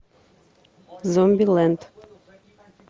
зомбилэнд